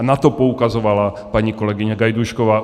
A na to poukazovala paní kolegyně Gajdůšková.